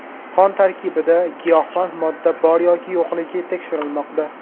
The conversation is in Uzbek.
Qon tarkibida giyohvand modda bor yoki yo‘qligi tekshirilmoqda.